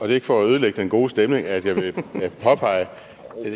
er ikke for at ødelægge den gode stemning at jeg vil påpege